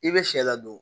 I bɛ sɛ ladon